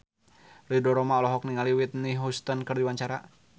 Ridho Roma olohok ningali Whitney Houston keur diwawancara